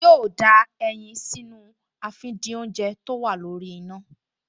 Yóò da ẹyin sínú àfìdínoúnjẹ tó wà lórí iná